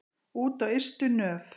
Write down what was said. Út á ystu nöf.